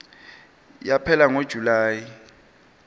yaphela ngo july